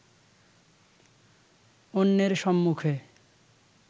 অন্যের সম্মুখে